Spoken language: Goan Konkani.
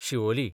शिवोली